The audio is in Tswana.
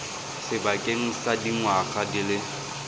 sebakeng sa dingwaga di le